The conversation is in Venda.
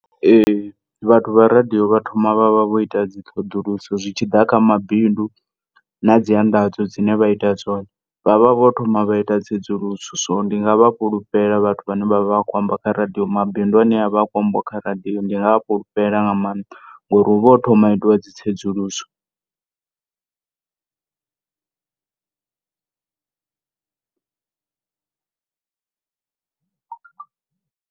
Ee, vhathu vha radio vha thoma vha vha vho ita dzi ṱhoḓuluso zwitshiḓa kha mabidu nadzi anḓadzo dzine vha ita dzone vha vha vho thoma vha ita tsedzuluso so ndinga vha fhulufhela vhathu vhane vha vha vha kho amba kha radio mabidu ane avha akho ambiwa kha radio ndinga a fhulufhela nga maanḓa, ngori huvha ho thomiwa ha itiwa dzi tsedzuluso.